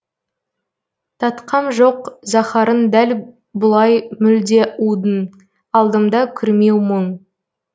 татқам жоқ заһарын дәл бұлай мүлде удың алдымда күрмеу мұң